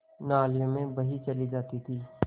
नालियों में बही चली जाती थी